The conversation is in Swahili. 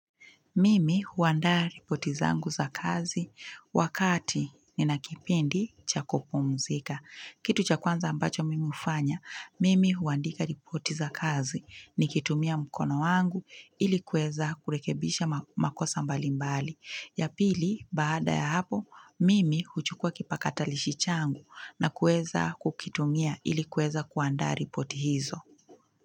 Mimi huandaa ripoti zangu za kazi wakati nina kipindi cha kupumuzika. Kitu cha kwanza ambacho mimi hufanya, mimi huandika ripoti zangu za kazi nikitumia mkono wangu ili kueza kurekebisha makosa mbalimbali. Ya pili, baada ya hapo, mimi huchukua kipakatalishi changu na kueza kukitumia ili kueza kuandaa ripoti zangu.